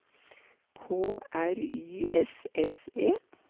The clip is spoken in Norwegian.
K R Y S S E